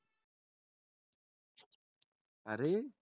अरे